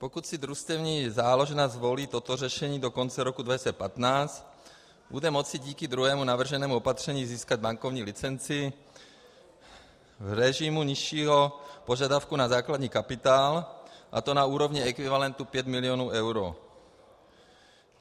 Pokud si družstevní záložna zvolí toto řešení do konce roku 2015, bude moci díky druhému navrženému opatření získat bankovní licenci v režimu nižšího požadavku na základní kapitál, a to na úrovni ekvivalentu 5 milionů eur.